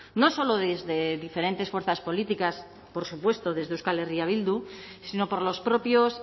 no solo desde diferentes fuerzas políticas por supuesto desde euskal herria bildu sino por los propios